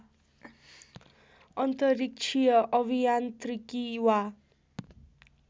अन्तरिक्षीय अभियान्त्रिकी वा